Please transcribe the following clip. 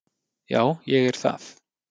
Já, ég er það